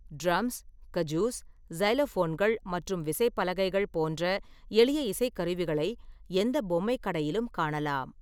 Drums, kazoos, சைலோஃபோன்கள் மற்றும் விசைப்பலகைகள் போன்ற எளிய இசைக்கருவிகளை எந்த பொம்மை கடையிலும் காணலாம்.